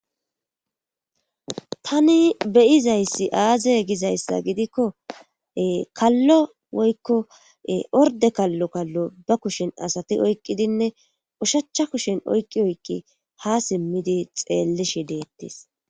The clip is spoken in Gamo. Tani beyizayssi aaze gizayssa gidikko kallo woykko orde kallo kallo ba kushen asati oyqqidinne ushachcha kushen oyqqi oykki ha simmidi xeellishi deettes